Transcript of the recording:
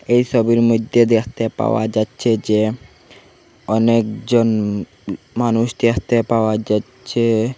এই সোবির মইদ্যে দেখতে পাওয়া যাচ্চে যে অনেকজন উঁ মানুষ দেখতে পাওয়া যাচ্চে।